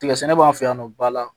Tigɛ sɛnɛ b'an fɛ yan nɔ ba la